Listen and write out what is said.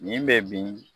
Nin bɛ bin